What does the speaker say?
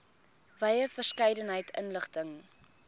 wye verskeidenheid inligting